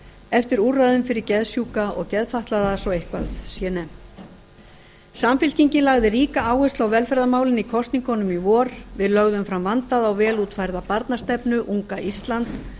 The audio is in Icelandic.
eftir úrræðum fyrir geðsjúka og geðfatlaða svo eitthvað sé nefnt samfylkingin lagði ríka áherslu á velferðarmálin í kosningunum í vor við lögðum fram vandaða og vel útfærða barnastefnu unga ísland